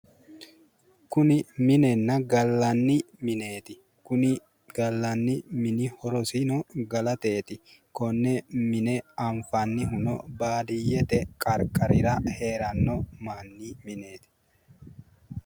Kuni minenna gallanni mineeti. Kuni gallanni mini horosino galateeti. Konne mine anfannihuno baadiyyete qanqarira heeranno manni mineeti.